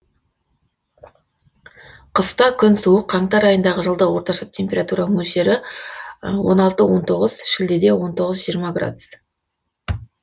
қыста күн суық қаңтар айындағы жылдық орташа температура мөлшері он алты он тоғыз шілдеде он тоғыз жиырма градус